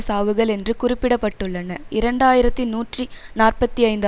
சாவுகள் என்று குறிப்பிட பட்டுள்ளன இரண்டு ஆயிரத்தி நூற்றி நாற்பத்தி ஐந்து